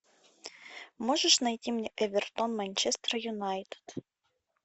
можешь найти мне эвертон манчестер юнайтед